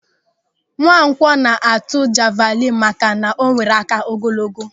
Nwankwọ na-atụ javịlịnụ maka na o nwere áká ogologo.